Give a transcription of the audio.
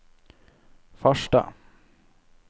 Farstad